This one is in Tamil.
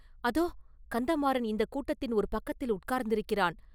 அதோ கந்தமாறன் இந்தக் கூட்டத்தின் ஒரு பக்கத்தில் உட்கார்ந்திருக்கிறான்.